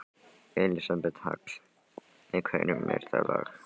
Elísabet Hall: Með hverjum er það lag?